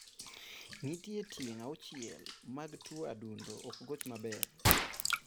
Nitiere tieng' auchiel mag tuo adundo ok goch maber